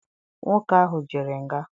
Nwoke ahụ jere nga.